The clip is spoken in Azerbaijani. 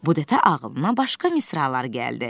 Bu dəfə ağlına başqa misralar gəldi.